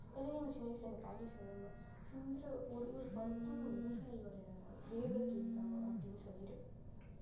அதுவும் சின்ன வயசுல இந்த பாட்டி சொல்லுவாங்க சிந்தற ஒரு ஒரு பருப்பும் விவசாயியோட வேர்வை துளிதான் அப்படின்னு சொல்லிட்டு